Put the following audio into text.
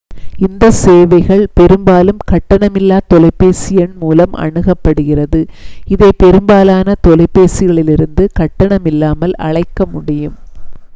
இந்த சேவைகள் பெரும்பாலும் கட்டணமில்லா தொலைபேசி எண் மூலம் அணுகப்படுகிறது இதை பெரும்பாலான தொலைபேசிகளிலிருந்து கட்டணமில்லாமல் அழைக்க முடியும்